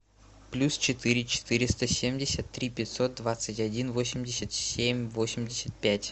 плюс четыре четыреста семьдесят три пятьсот двадцать один восемьдесят семь восемьдесят пять